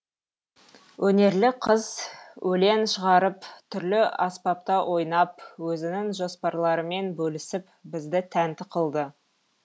өнерлі қыз өлең шығарып түрлі аспапта ойнап өзінің жоспарларымен бөлісіп бізді тәнті қылды